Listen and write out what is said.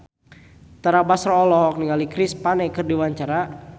Tara Basro olohok ningali Chris Pane keur diwawancara